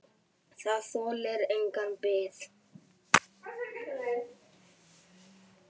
Það þolir enga bið!